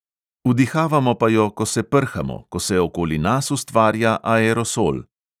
Vdihavamo pa jo, ko se prhamo, ko se okoli nas ustvarja aerosol.